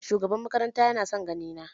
Shugaban makaranta ya na son gani na.